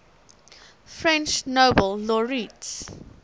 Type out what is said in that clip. french nobel laureates